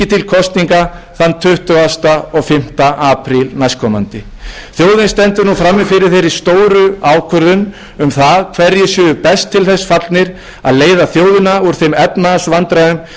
kosninga þann tuttugasta og fimmta apríl næstkomandi þjóðin stendur nú frammi fyrir þeirri stóru ákvörðun um það hverjir séu best til þess fallnir að leiða þjóðina úr þeim efnahagsvandræðum sem hún glímir við